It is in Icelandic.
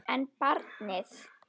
En barnið?